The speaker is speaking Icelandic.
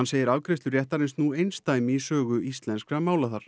segir afgreiðslu réttarins nú einsdæmi í sögu íslenskra mála þar